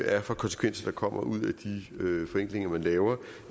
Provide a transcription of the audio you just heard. er for konsekvenser der kommer ud af de forenklinger man laver